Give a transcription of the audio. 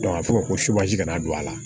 a bɛ fɔ ko kana don a la